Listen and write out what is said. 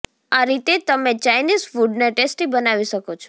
આ રીતે તમે ચાઈનીઝ ફુડને ટેસ્ટી બનાવી શકો છો